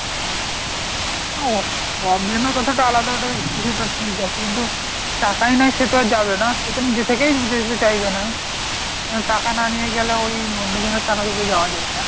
problem এর কথা টা আলাদা, ওটা কিছুটা ঠিক আছে কিন্তু টাকাই নাই সে তো আর যাবেনা সে তো নিজে থেকেই যেতে চাইবেনা। টাকা না নিয়ে গেলে ওই অন্যজনের টাকাতে তো যাওয়া যায় না।